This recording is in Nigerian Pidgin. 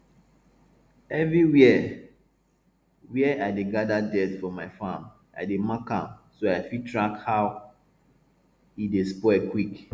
everywhere where i dey gather dirt for my farm i dey mark am so i fit track how e dey spoil quick